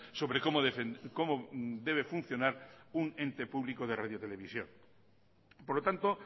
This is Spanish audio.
sobre cómo debe funcionar un ente público de radiotelevisión por lo tanto